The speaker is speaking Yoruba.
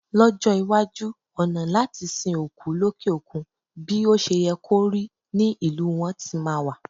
Lọ́jọ́ iwájú, ọ̀nà láti sin òkú lókè òkun bí o ṣe yẹ kó rí ní ìlú wọn tí máa wà.